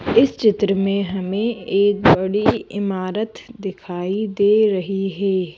इस चित्र में हमें एक बड़ी इमारत दिखाई दे रही है।